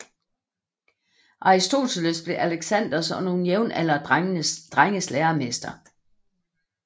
Aristoteles blev Alexanders og nogle jævnaldrende drenges læremester